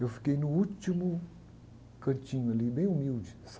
Eu fiquei no último cantinho ali, bem humilde